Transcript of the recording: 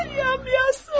Yarım, yaxşı oğlum.